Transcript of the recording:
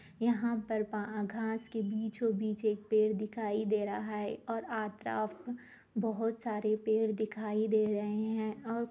यहाँ पर पा घास के बीचों-बीच एक पेड़ दिखाई दे रहा है और बहुत सारे पेड़ दिखाई दे रहे है और--